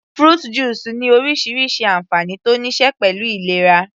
Fruit juice ní orísirísi ànfàní tó níí ṣe pẹ̀lú ìlera